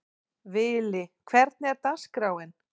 Vili, hvernig er dagskráin?